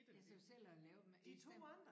Ja så selv at lave dem i stedet